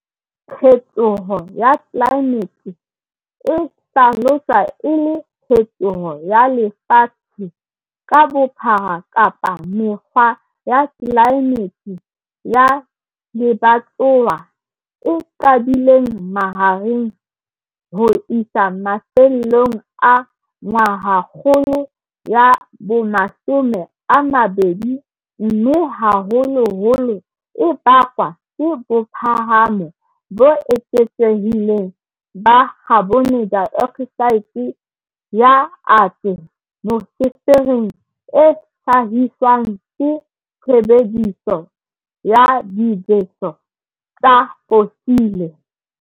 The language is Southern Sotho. Phetoho ya tlelaemete e hlaloswa e le phetoho ya lefatshe ka bophara kapa mekgwa ya tlelaemete ya lebatowa e qadileng mahareng ho isa mafellong a ngwahakgolo ya bo20 mme haholoholo e bakwa ke bophahamo bo eketsehileng ba khabonedaeoksaete ya ate mosefereng e hlahiswang ke tshebediso ya dibeso tsa fosile.